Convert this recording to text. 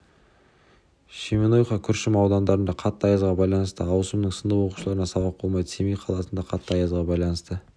шемонаиха күршім аудандарында қатты аязға байланысты ауысымның сынып оқушыларына сабақ болмайды семей қаласында қатты аязға байланысты